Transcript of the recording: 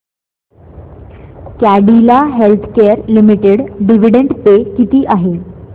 Cadila healthcare limited dividend pay किती आहे